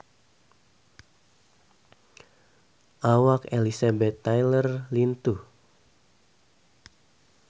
Awak Elizabeth Taylor lintuh